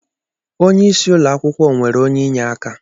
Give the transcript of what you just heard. Onye isi ụlọakwukwo nwere onye inyeaka.